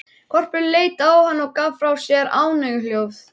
Hvolpurinn leit á hann og gaf frá sér ánægjuhljóð.